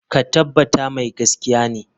Ka tabbata mai gaskiya ne?